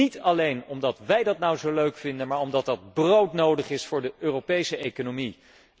Niet alleen omdat wij dat nou zo leuk vinden, maar omdat dat broodnodig is voor de Europese economie.